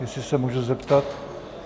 Jestli se můžu zeptat?